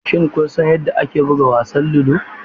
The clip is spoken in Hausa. Shin kun san yadda ake buga wasan ludo?